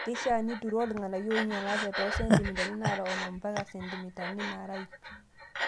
Keishaa nituroo irng'anayio oinyalate too sentimitani naara onom mpaka sentimitani naara ip.